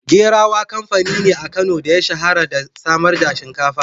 Gerawa kamfani ne a Kano da ya shahara da samar da shinkafa.